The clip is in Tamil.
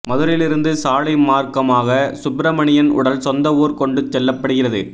மதுரையிலிருந்து சாலை மார்க்கமாக சுப்பிரமணியன் உடல் சொந்த ஊர் கொண்டு செல்லப்படுகிறது